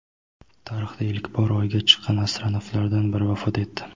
Tarixda ilk bor Oyga chiqqan astronavtlardan biri vafot etdi.